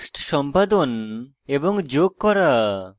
text সম্পাদন এবং যোগ করা